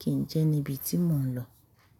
kí n jẹ níbi tí mò ń lọ.